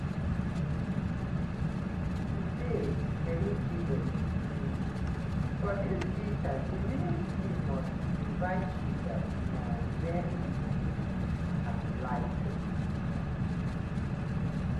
to dey eligible um for dis visa di ministry must invite you dat na wen you go fit apply for di visa.